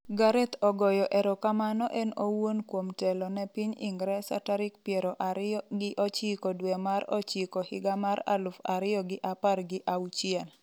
Gareth ogoyo erokamano en owuon kuom telo ne piny Ingresa tarik piero ariyo gi ochiko dwe mar ocghiko higa mar aluf ariyo gi apar gi auchiel